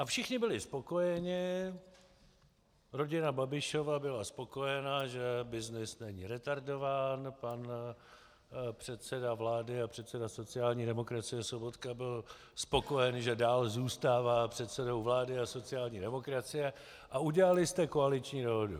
A všichni byli spokojeni, rodina Babišova byla spokojena, že byznys není retardován, pan předseda vlády a předseda sociální demokracie Sobotka byl spokojen, že dál zůstává předsedou vlády a sociální demokracie, a udělali jste koaliční dohodu.